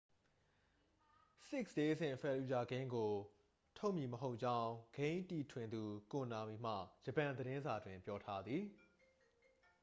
six days in fallujah ဂိမ်းကို ထုတ်မည်မဟုတ်ကြောင်း ဂိမ်းတည်ထွင်သူ ကိုနာမီမှ ဂျပန်သတင်းစာတွင် ပြောထားသည်